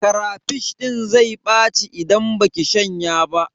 Karafish din zai ɓaci idan baki shanya ba.